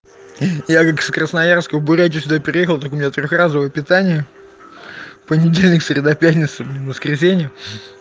я как с красноярска в бурятию сюда переехал ты меня трёх-разовое разовое питание в понедельник среда пятница блин воскресенье